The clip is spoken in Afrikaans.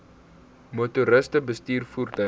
motoriste bestuur voertuie